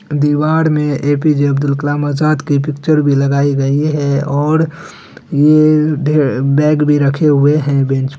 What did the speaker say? दीवार मे ए.पी.जे. अब्दुल कलाम आजाद की पिक्चर भी लगाई गई है और ये ढे बेग भी रखे हुए है बेंच --